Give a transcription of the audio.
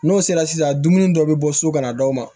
N'o sera sisan dumuni dɔ bɛ bɔ so ka na d'aw ma